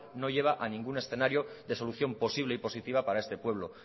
no lleva a ningún escenario de solución posible y positiva para este pueblo